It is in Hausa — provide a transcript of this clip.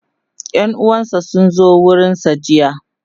ƴan uwansa sun zo gurinsa jiya